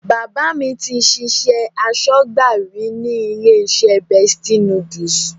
Bàbá mi ti ṣiṣẹ́ aṣọ́gbà rí ní ilé-iṣẹ́ Bestie Noodles.